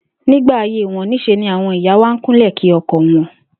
Nígbà ayé wo̩n, ní s̩e ni àwo̩n ìyá wa n kúnlè̩ kí o̩ko̩ wo̩n